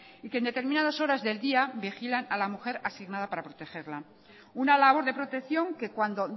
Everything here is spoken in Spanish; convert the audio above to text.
y que en determinadas horas del día vigilan a la mujer asignada para protegerla una labor de protección que cuando